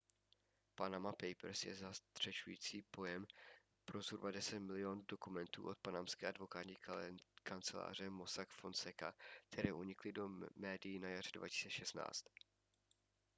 panama papers je zastřešující pojem pro zhruba deset milionů dokumentů od panamské advokátní kanceláře mossack fonseca které unikly do médií na jaře 2016